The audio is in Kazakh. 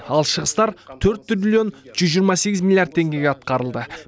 ал шығыстар төрт триллион жүз жиырма сегіз миллиард теңгеге атқарылды